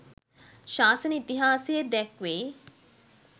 ශාසන ඉතිහාසයේ දැක්වෙයි.